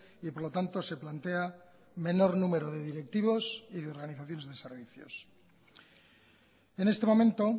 y por lo tanto se plantea menor número de directivos y de organizaciones de servicios en este momento